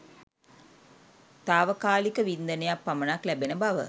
තාවකාලික වින්දනයක් පමණක් ලැබෙන බව